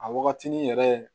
A wagatini yɛrɛ